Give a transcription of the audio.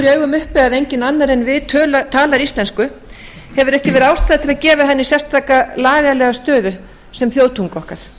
augum uppi að enginn annar en við talar íslensku hefur ekki verið ástæða til að gefa henni sérstaka lagalega stöðu sem þjóðtungu okkar